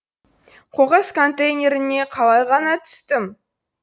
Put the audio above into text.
қоқыс контейнеріне қалай ғана түстім